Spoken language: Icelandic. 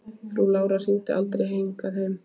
Frú Lára hringdi aldrei hingað heim.